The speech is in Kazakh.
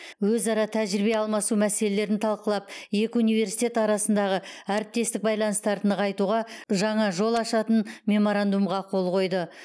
өзара тәжірибе алмасу мәселелерін талқылап екі университет арасындағы әріптестік байланыстарды нығайтуға жаңа жол ашатын меморандумға қол қойды